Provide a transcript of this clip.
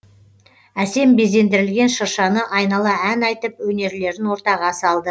әсем безендірілген шыршаны айнала ән айтып өнерлерін ортаға салды